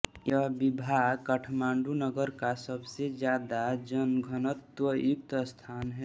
यह विभाग काठमांडू नगर का सबसे ज़्यादा जनघनत्त्व युक्त स्थान है